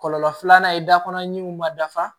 Kɔlɔlɔ filanan da kɔnɔ ɲimiw ma dafa